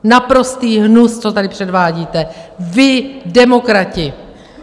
Naprostý hnus, co tady předvádíte, vy, demokrati!